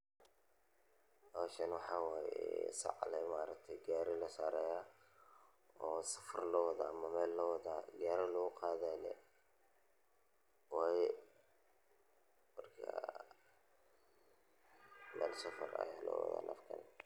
Hashan waxaa waye sac maarsgte gari lasaraya oo safar loowadha ama meel loowadha gari laguqadhaya le marka mel safar ayaa loowadha nafkan.